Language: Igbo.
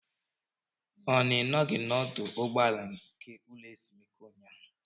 Ọ na Ị nọghị n'ọdụ ụgbọala nke ụlọ ezumike ụnyaahụ?